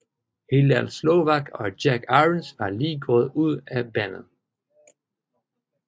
Hillel Slovak og Jack Irons var lige gået ud af bandet